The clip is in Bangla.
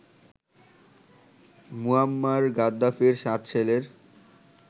মুয়াম্মার গাদ্দাফির ৭ ছেলের